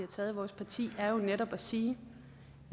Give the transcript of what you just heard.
taget i vores parti er jo netop at sige